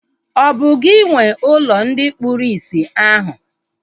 Ọ bụ gị nwee ụlọ ndị kpụrụ isi ahu?